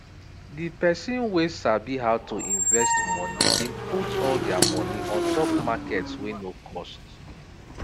the person wey sabi how to invest money been put all their money on top markets wey no cost